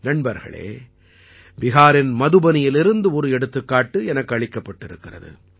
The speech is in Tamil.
நண்பர்களே பிஹாரின் மதுபனியிலிருந்து ஒரு எடுத்துக்காட்டு எனக்கு அளிக்கப்பட்டிருக்கிறது